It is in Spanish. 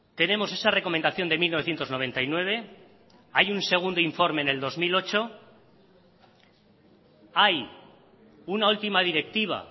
tenemos esa recomendación de mil novecientos noventa y nueve hay un segundo informe en el dos mil ocho hay una última directiva